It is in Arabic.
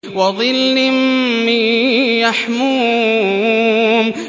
وَظِلٍّ مِّن يَحْمُومٍ